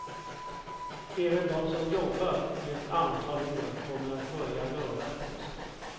Även de som jobbat i ett antal år kommer att börja röra på sig.